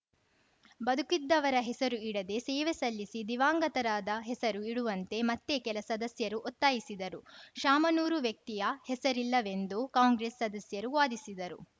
ಬದುಕಿದ್ದವರ ಹೆಸರು ಇಡದೇ ಸೇವೆ ಸಲ್ಲಿಸಿ ದಿವಂಗತರಾದ ಹೆಸರು ಇಡುವಂತೆ ಮತ್ತೆ ಕೆಲ ಸದಸ್ಯರು ಒತ್ತಾಯಿಸಿದರು ಶಾಮನೂರು ವ್ಯಕ್ತಿಯ ಹೆಸರಿಲ್ಲವೆಂದು ಕಾಂಗ್ರೆಸ್‌ ಸದಸ್ಯರು ವಾದಿಸಿದರು